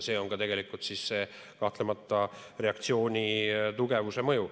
Sellest tuleneb kahtlemata reaktsiooni tugevus.